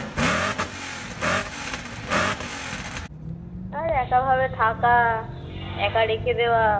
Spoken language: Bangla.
আর একা ভাবে থাকা একা রেখে দেওয়া